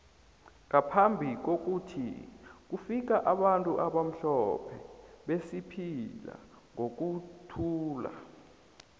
ngaphambi kwokuthi kufika abantu abamhlophe besiphila ngokuthula